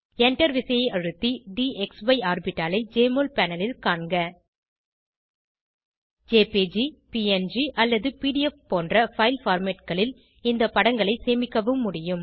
Enter விசையை அழுத்தி DXE ஆர்பிட்டாலை ஜெஎம்ஒஎல் பேனல் ல் காண்க ஜேபிஜி ப்ங் அல்லது பிடிஎஃப் போன்ற பைல் formatகளில் இந்த படங்களை சேமிக்கவும் முடியும்